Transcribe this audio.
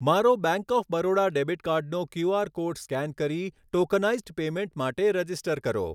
મારો bank of Baroda debit કાર્ડનો Q R code scan કરી ટોકનાઈઝ્ડ પેમૅન્ટ માટે રજિસ્ટર કરો